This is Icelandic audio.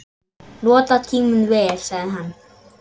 Nota tímann vel, sagði hann.